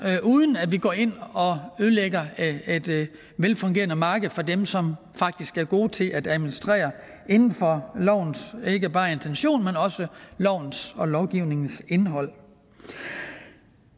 uden at vi går ind og ødelægger et velfungerende marked for dem som faktisk er gode til at administrere inden for lovens ikke bare intention men også lovens og lovgivningens indhold